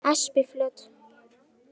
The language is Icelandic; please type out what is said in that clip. Espiflöt